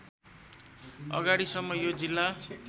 अगाडिसम्म यो जिल्ला